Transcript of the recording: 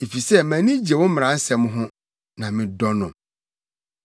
efisɛ mʼani gye wo mmaransɛm ho, na medɔ no.